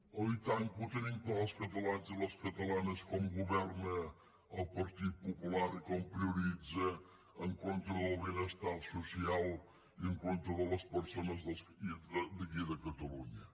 oi tant que ho tenim clar els catalans i les catalanes com governa el partit popular i com prioritza en contra del benestar social i en contra de les persones d’aquí de catalunya